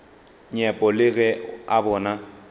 nyepo le ge a bona